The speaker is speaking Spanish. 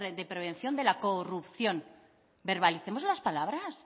de prevención de la corrupción verbalicemos las palabras